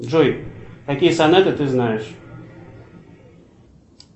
джой какие сонаты ты знаешь